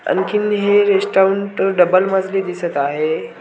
आणखीन हे restaurant double मजली दिसत आहे.